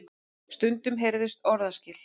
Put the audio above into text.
Stundum heyrðust orðaskil.